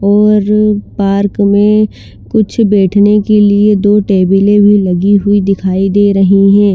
और पार्क में कुछ बेठने के लिए दो टेबल ए भी लगी हुई दिखाई दे रही है।